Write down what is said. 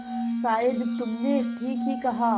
शायद तुमने ठीक ही कहा